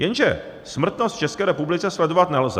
Jenže smrtnost v České republice sledovat nelze.